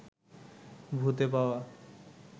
ভূতে পাওয়া